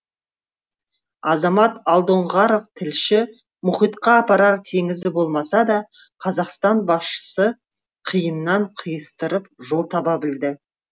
азамат алдоңғаров тілші мұхитқа апарар теңізі болмаса да қазақстан басшысы қиыннан қиыстырып жол таба білді